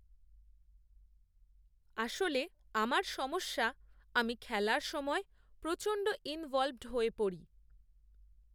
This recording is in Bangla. আসলে, আমার সমস্যা আমি খেলার সময় প্রচণ্ড, ইনভলভড হয়ে পড়ি